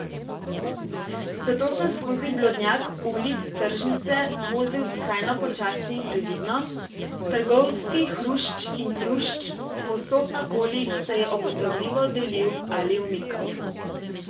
Zato sem skozi blodnjak ulic tržnice vozil skrajno počasi in previdno, trgovski hrušč in trušč povsod naokoli se je obotavljivo delil ali umikal.